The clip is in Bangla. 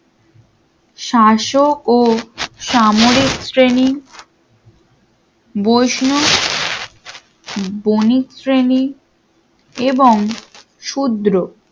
শাসক ও সামরিক শ্রেণী বৈষ্ণব বণিক শ্রেণী এবং শূদ্র